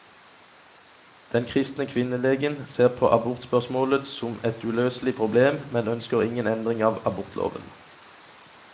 Den kristne kvinnelegen ser på abortspørsmålet som et uløselig problem, men ønsker ingen endring av abortloven.